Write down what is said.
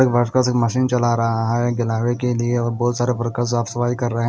एक वर्कर्स एक मशीन चला रहा है के लिए और बहोत सारे वर्कर्स साफ सफाई कर रहे हैं।